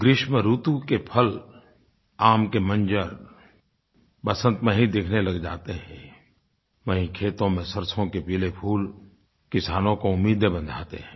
ग्रीष्म ऋतु के फल आम के मंजर वसन्त में ही दिखने लग जाते हैं वहीं खेतों में सरसों के पीले फूल किसानों को उम्मीदें बंधाते हैं